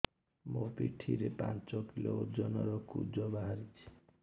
ମୋ ପିଠି ରେ ପାଞ୍ଚ କିଲୋ ଓଜନ ର କୁଜ ବାହାରିଛି